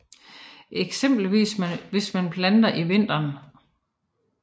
Eksempelvis hvis man planter i vinteren